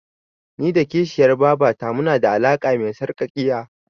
Ni da kishiyar babata munada alaƙa me sarƙaƙiya.